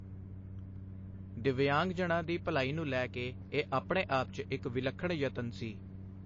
ਦਿੱਵਯਾਂਗਜਨਾਂ ਦੀ ਭਲਾਈ ਨੂੰ ਲੈ ਕੇ ਇਹ ਆਪਣੇ ਆਪ 'ਚ ਇੱਕ ਵਿਲੱਖਣ ਯਤਨ ਸੀ।